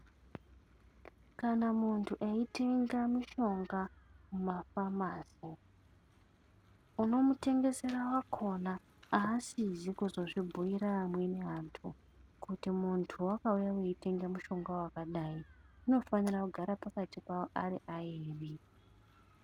Kana muntu aitenga mishonga mumafamasi, unomutengesera wakona haasizvi kusazvibhuira vamweni vantu kuti muntu akauya achitenga mushonga wakadai, zvinofanira kugara pakati pavo ari aviri.